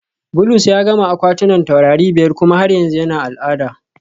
Bulus ya gama akwatunan taurari biyar kuma har yanzu yana al'ada